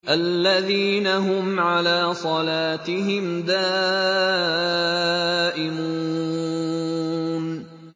الَّذِينَ هُمْ عَلَىٰ صَلَاتِهِمْ دَائِمُونَ